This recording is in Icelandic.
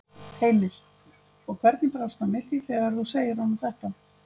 Heimir: Og hvernig brást hann við því þegar þú segir honum þetta?